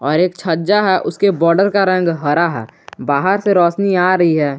और एक छज्जा है उसके बॉर्डर का रंग हरा है बाहर से रोशनी आ रही है।